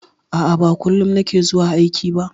A'a, ba kullum na ke zuwa aiki ba.